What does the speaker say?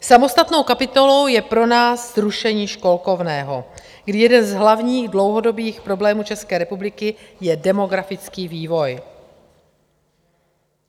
Samostatnou kapitolou je pro nás zrušení školkovného, kdy jeden z hlavních dlouhodobých problémů České republiky je demografický vývoj.